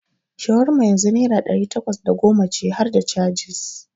Shawarma yanzu naira ɗari takwas da goma ce harda cajis.